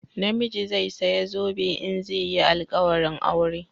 Namiji zai saya zobe in zai yi alƙawarin aure